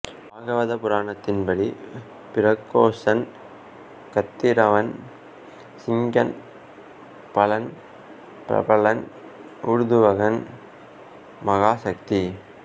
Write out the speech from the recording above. பாகவத புராணத்தின் படி பிரகோசன் கத்திரவான் சிங்கன் பலன் பிரபலன் ஊர்த்துவகன் மகாசக்தி